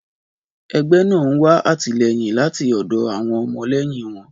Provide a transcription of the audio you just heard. Ẹgbẹ́ náà ń wá àtìlẹ́yìn láti ọ̀dọ̀ àwọn ọmọlẹ́yìn wọn.